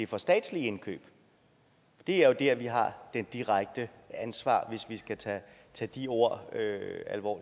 for statslige indkøb det er jo der vi har det direkte ansvar hvis vi skal tage de ord